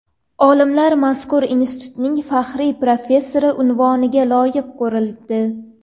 Olimlar mazkur institutning faxriy professori unvoniga loyiq ko‘rildi.